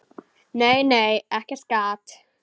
Nei, nei, ekkert gat!